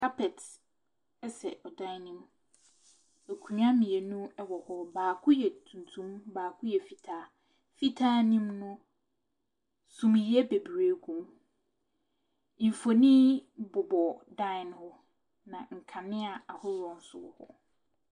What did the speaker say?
Kapɛt ɛsɛ ɛdan ne mu. Akonnwa mmienu ɛwɔ hɔ. Baako yɛ tuntum, baako yɛ fitaa. Fitaa ne mu no, summiiɛ bebree gu mu. Mfonin bobɔ dan no ho na nkanea ahoroɔ nso wɔ hɔ.